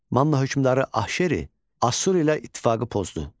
Manna hökmdarı Ahşeri Asur ilə ittifaqı pozdu.